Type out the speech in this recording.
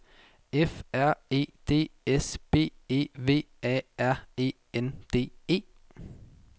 F R E D S B E V A R E N D E